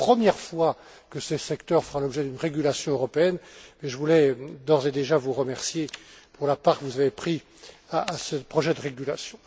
C'est la première fois que ce secteur fera l'objet d'une régulation européenne, et je voulais d'ores et déjà vous remercier pour la part que vous avez prise à ce projet de régulation.